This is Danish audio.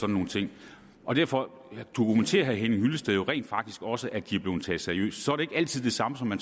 nogle ting og derfor dokumenterer herre henning hyllested jo rent faktisk også at de er blevet taget seriøst så er det ikke altid det samme som at